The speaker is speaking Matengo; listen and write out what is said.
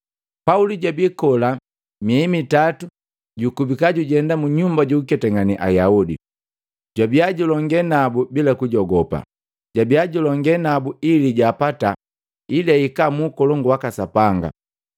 Pauli jabi kola miei mitatu jukubika jujenda munyumba jukuketangane Ayaudi, jwabia julonge nabu bila kujogopa, jabiya julongalane nabu ili jaapata ili ahika mu Ukolongu waka Sapanga.